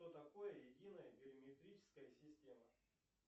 что такое единая биометрическая система